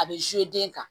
A bɛ den kan